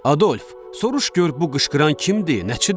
Adolf, soruş gör bu qışqıran kimdir, nəçidir?